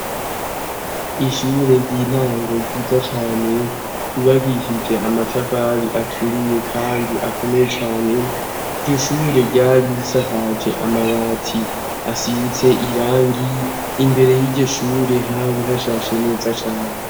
Ishure ry'intango ryiza cane ribakisije amatavali aturiye kandi akomeye cyane iryo shure ryari bisakaje amabati asiitse irangi imbere y'iryo shure habihashashe neza cane.